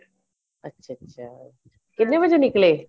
ਅੱਛਾ ਅੱਛਾ ਕਿੰਨੇ ਵਜੇ ਨਿਕਲੇ